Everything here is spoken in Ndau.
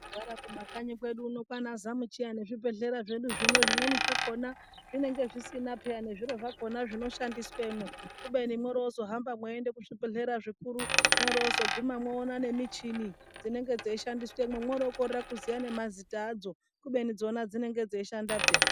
Togara kumakanyi kwedu uno kwaana zamuchiya nezvibhehlera zvedu zvino zvimweni zvakona zvinenge zvisina peya nezviro zvakona zvinoshandiswemwo kubeni mwoorozohamba mweienda kuzvibhehlera zvikuru mwoorozoguma mwoona nemichini dzinenge dzeishandiswemwo mwokorera kuziya nemazita adzo kubeni dzona dzinenge dzeishanda peya.